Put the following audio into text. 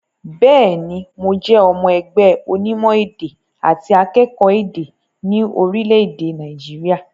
Bẹ́ẹ̀ ní, mo jẹ́ ọmọ ẹgbẹ́ ọnímọ̀-èdẹ̀ àti akẹ́kọ̀ọ́ èdè ní orílẹ̀-èdè Nàìjíríà.